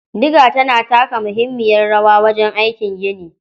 Diga tana taka muhimmiyar rawa wajen aikin gini.